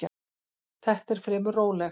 Þetta er fremur rólegt.